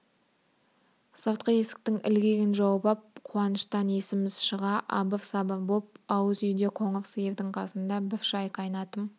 сыртқы есіктің ілгегін жауып ап қуаныштан есіміз шыға абыр-сабыр боп ауыз үйде қоңыр сиырдың қасында бір шай қайнатым